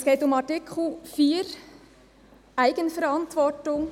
Es geht um Artikel 4, Eigenverantwortung.